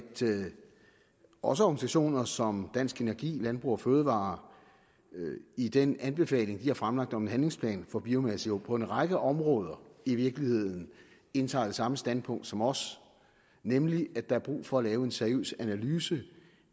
også organisationer som dansk energi og landbrug fødevarer i den anbefaling de har fremlagt om en handlingsplan for biomasse på en række områder i virkeligheden indtager det samme standpunkt som os nemlig at der er brug for at lave en seriøs analyse